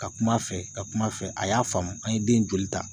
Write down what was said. Ka kuma a fɛ, ka kuma a fɛ, a y'a faamu , an ye den joli ta .